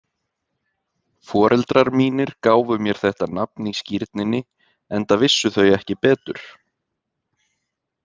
Foreldrar mínir gáfu mér þetta nafn í skírninni enda vissu þau ekki betur.